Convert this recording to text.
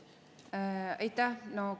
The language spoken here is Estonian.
Aitäh!